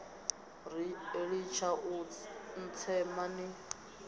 ri litshani u ntsema ni